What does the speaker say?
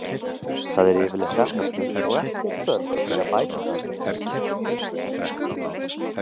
Það er yfirleitt efnasnautt og ekki er þörf fyrir að bæta það með hreinsiefnum.